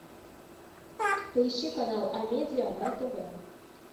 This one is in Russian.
поищи канал амедиа на тв